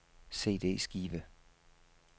CD-skive